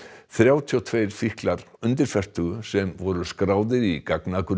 þrjátíu og tvö fíklar undir fertugu sem voru skráðir í gagnagrunninn